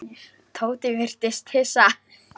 Tóti virtist hissa.